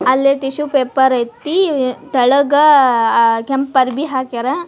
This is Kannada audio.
ಅಲ್ಲಿ ಟಿಶ್ಯೂ ಪೇಪರ್ ಐತಿ ತೆಳಗಾಅಅ ಕೆಂಪ್ ಅಂಗಿ ಹಾಕ್ಯಾರ --